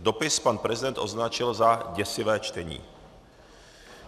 Dopis pan prezident označil za děsivé čtení.